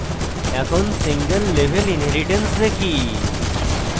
এখন single level inheritance দেখি